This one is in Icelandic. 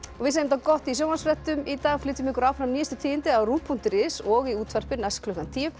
gott af sjónvarpsfréttum í dag flytjum ykkur áfram nýjustu tíðindi á ruv punktur is og í útvarpi næst klukkan tíu